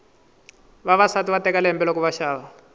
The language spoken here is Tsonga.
vavasati va teka lembe loko va xava